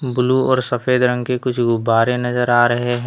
Blue और सफेद रंग के कुछ गुब्बारे नज़र आ रहे हैं।